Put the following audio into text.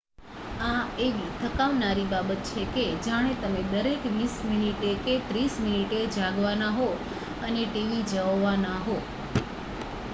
આ એવી થકાવનારી બાબત છે કે જાણે તમે દરેક વીસ મીનીટે કે ત્રીસ મીનીટે જાગવાના હો અને tv જોવાના હો